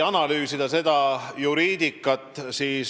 Analüüsime juriidikat edasi.